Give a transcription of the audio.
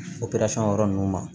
operasɔn yɔrɔ ninnu ma